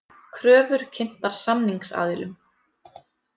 Kröfur kynntar samningsaðilum